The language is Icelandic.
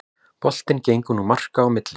Boltinn gengur nú marka á milli